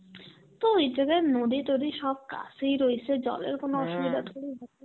তো ওই জায়গায় নদী তদী সব কাসেই রইসে, জলের কোন অসুবিধা